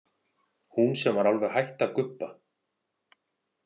Hún sem var alveg hætt að gubba.